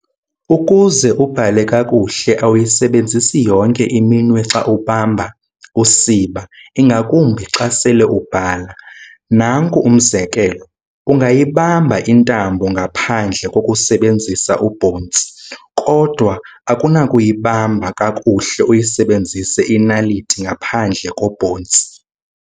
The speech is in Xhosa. Ukuze ubhale kakuhle, awuyisebenzi yonke iminwe xa ubamba usiba, ingakumbi xa sele ubhala. Nanku umzekelo, ungayibamba intambo ngaphendle kokusebenzisa ubhontsi, kodwa akunakuyibamba kakuhle uyisebenzise inaliti ngaphandle kobhontsi.